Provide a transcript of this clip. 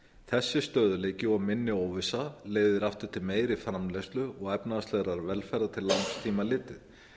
þessi stöðugleiki og minni óvissa leiðir aftur til meiri framleiðslu og efnahagslegrar velferðar til langs tíma litið